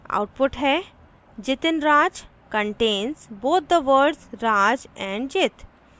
output है : jitinraj contains both the words raj and jit